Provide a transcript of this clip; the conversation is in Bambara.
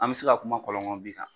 An bi se ka kuma kɔlɔnkɔnɔbin kan.